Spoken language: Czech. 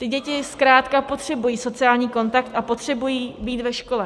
Ty děti zkrátka potřebují sociální kontakt a potřebují být ve škole.